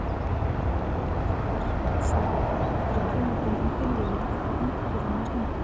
Almyrkvar á sólu eru tímabundin tilviljun frá náttúrunnar hendi.